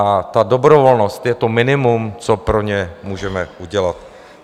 A ta dobrovolnost je to minimum, co pro ně můžeme udělat.